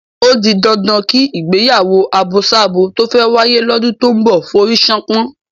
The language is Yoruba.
Ó di dandan kí ìgbéyàwó àbosábo tó fẹ́ wáyé lọ́dún tó ń bọ̀ forí ṣánpọ́n.